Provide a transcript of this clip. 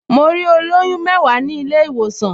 Mo rí olóyún mẹ́wàá ní ilé-ìwòsàn